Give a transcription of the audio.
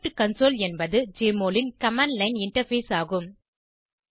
script console என்பது Jmol ன் command line interface ஆகும்